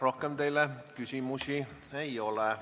Rohkem teile küsimusi ei ole.